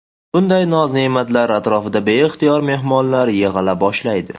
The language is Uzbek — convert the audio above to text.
Bunday noz-ne’matlar atrofida beixtiyor mehmonlar yig‘ila boshlaydi.